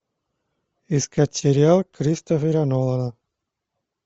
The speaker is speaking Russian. искать сериал кристофера нолана